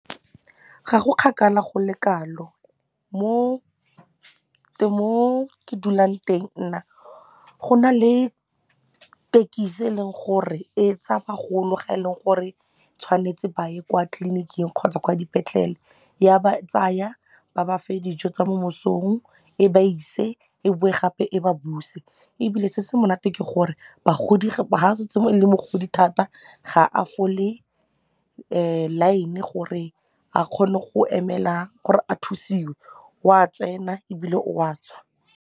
Ga go kgakala go le kalo mo ke dulang teng nna go na le tekisi e leng gore e tsaya bagolo ga e le gore tshwanetse ba ye kwa tliliniking kgotsa kwa dipetlele ya ba tsaya ba ba fe dijo tsa mo mesong e ba ise e be gape e ba buse ebile se se monate ke gore bagodi ga setse e le mogodi thata ga a fole line gore a kgone go emela gore a thusiwe o a tsena ebile o a tswa.